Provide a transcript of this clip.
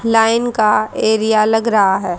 Line का area लग रहा है।